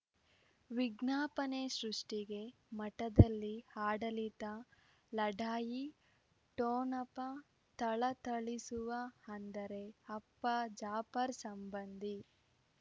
ವಿಜ್ಞಾಪನೆ ಸೃಷ್ಟಿಗೆ ಮಠದಲ್ಲಿ ಆಡಳಿತ ಲಢಾಯಿ ಠೊಣಪ ಥಳಥಳಿಸುವ ಅಂದರೆ ಅಪ್ಪ ಜಾಫರ್ ಸಂಬಂಧಿ